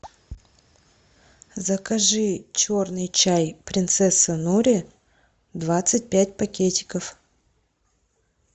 закажи черный чай принцесса нури двадцать пять пакетиков